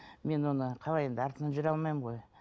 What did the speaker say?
мен оны қалай енді артынан жүре алмаймын ғой